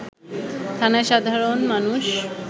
থানায় সাধারণ মানুষ